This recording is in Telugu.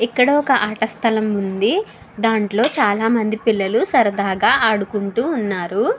ఇక్కడ ఒక అట సలాం ఉంది. దాంట్లో చాల మంది పిల్లలు ఆడుకుంటూ ఉన్నారు.